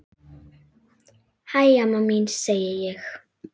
Hæ, amma mín, segi ég.